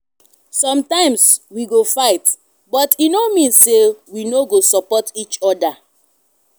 sometimes we go fight but e no mean say we no go support each other.